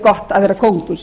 gott kvöld góðir